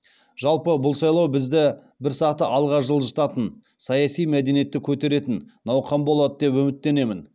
жалпы бұл сайлау бізді бір саты алға жылжытатын саяси мәдениетті көтеретін науқан болады деп үміттенемін